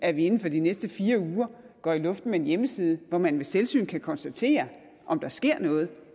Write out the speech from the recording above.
at vi inden for de næste fire uger går i luften med en hjemmeside hvor man ved selvsyn kan konstatere om der sker noget